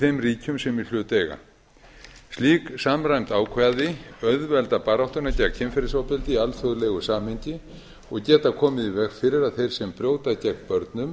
þeim ríkjum sem í hlut eiga slík samræmd ákvæði auðvelda baráttuna gegn kynferðisofbeldi í alþjóðlegu samhengi og geta komið í veg fyrir að þeir sem brjóta gegn börnum